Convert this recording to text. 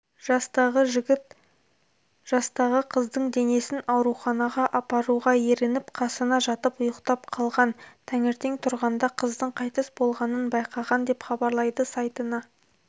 жастағы жігіт жастағы қыздың денесін ауруханаға апаруға ерініп қасына жатып ұйықтап қалған таңертең тұрғанда қыздың қайтыс болғанын байқаған деп хабарлайды сайтына